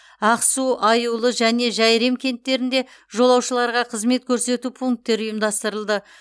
ақсу аюлы және жәйрем кенттерінде жолаушыларға қызмет көрсету пункттері ұйымдастырылды